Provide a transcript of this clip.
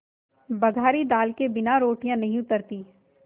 बघारी दाल के बिना रोटियाँ नहीं उतरतीं